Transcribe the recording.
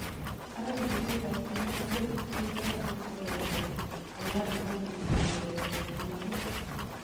Ara biriindet ab keny nebo Celtic Chris Sutton koyaani kole Ronaldo komuuchi kong'wereer kee inkeee